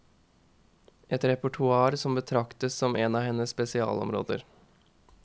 Et repertoar som betraktes som en av hennes spesialområder.